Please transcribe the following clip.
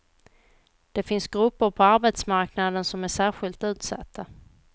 Det finns grupper på arbetsmarknaden som är särskilt utsatta.